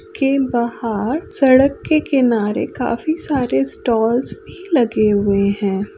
के बाहर सड़क के किनारे काफी सारे स्टॉल्स भी लगे हुए हैं।